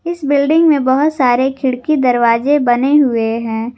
इस बिल्डिंग में बहुत सारे खिड़की दरवाजे बने हुए हैं।